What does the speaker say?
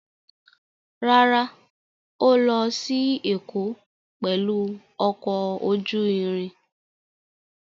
Rárá, Ó lọ sí Èkó pẹ̀lú ọkọ̀ ojú irin.